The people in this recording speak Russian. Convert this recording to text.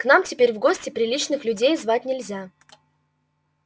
к нам теперь в гости приличных людей звать нельзя